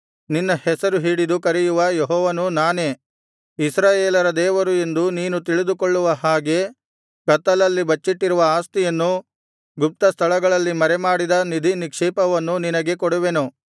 ನಿನ್ನ ಹೆಸರು ಹಿಡಿದು ಕರೆಯುವ ಯೆಹೋವನು ನಾನೇ ಇಸ್ರಾಯೇಲರ ದೇವರು ಎಂದು ನೀನು ತಿಳಿದುಕೊಳ್ಳುವ ಹಾಗೆ ಕತ್ತಲಲ್ಲಿ ಬಚ್ಚಿಟ್ಟಿರುವ ಆಸ್ತಿಯನ್ನೂ ಗುಪ್ತಸ್ಥಳಗಳಲ್ಲಿ ಮರೆಮಾಡಿದ ನಿಧಿನಿಕ್ಷೇಪವನ್ನೂ ನಿನಗೆ ಕೊಡುವೆನು